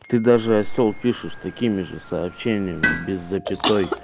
ты даже осел пишешь такими же сообщениями без запятой